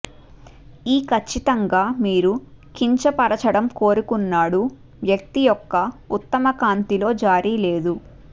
ఈ ఖచ్చితంగా మీరు కించపరచడం కోరుకున్నాడు వ్యక్తి యొక్క ఉత్తమ కాంతి లో జారీ లేదు